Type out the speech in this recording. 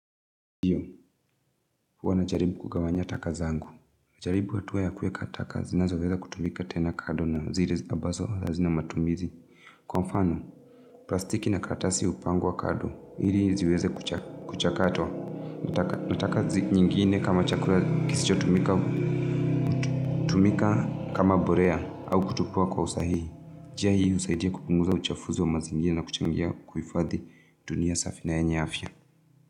Hiyo, huwa na jaribu kugawanya taka zangu. Najaribu hatua ya kuweka taka zinazoweza kutumika tena kado na zire abazo hazina matumizi. Kwa mfano, plastiki na karatasi upangwa kado, ili ziweze kuchakatwa. Nataka zi nyingine kama chakura kisicho tumika kama borea au kutupwa kwa usahihi. Jia hii husaidia kupunguza uchafuzi wa mazingira na kuchangia kuifadhi dunia safi na yenya afya.